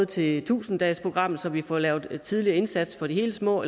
til tusind dagesprogrammet så vi får lavet en tidligere indsats for de helt små